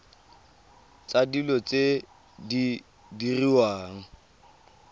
tsa dilo tse di diriwang